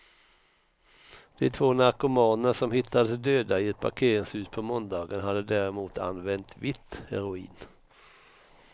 De två narkomaner som hittades döda i ett parkeringshus på måndagen hade däremot använt vitt heroin.